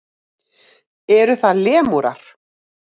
Eru það lemúrar?